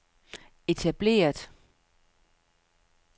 etableret